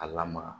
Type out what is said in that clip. A lamara